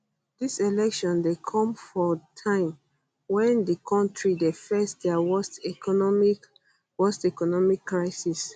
dis election dey come for time wen di kontri dey face dia worst economic worst economic crisis